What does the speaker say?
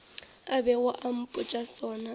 a bego a mpotša sona